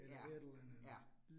Ja, ja